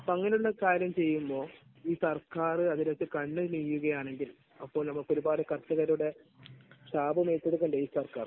അങ്ങനെയുള്ള കാര്യം ചെയ്യുമ്പോൾ ഈ സർക്കാര് അതിലൊക്കെ ആണെങ്കിൽ അപ്പോൾ നമുക്കൊരുപാട് കർഷകരുടെ ശാപമേറ്റെടുക്കേണ്ടേ ഈ സർക്കാർ?